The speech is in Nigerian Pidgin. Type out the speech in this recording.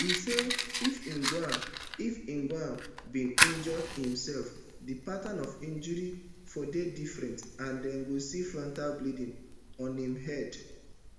e say if ojwang if ojwang bin injure imsef di pattern of injuries for dey different and dem go see frontal bleeding on im head